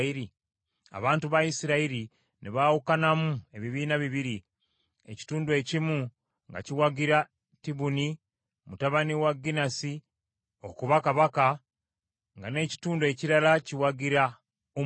Abantu ba Isirayiri ne baawukanamu ebibiina bibiri, ekitundu ekimu nga kiwagira Tibuni mutabani wa Ginasi okuba kabaka, nga n’ekitundu ekirala kiwagira Omuli.